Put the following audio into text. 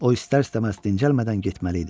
O istər-istəməz dincəlmədən getməli idi.